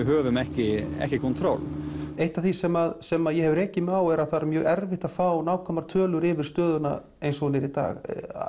höfum ekki ekki eitt af því sem sem ég hef rekið mig á er að það er mjög erfitt að fá nákvæmar tölur yfir stöðuna eins og hún er í dag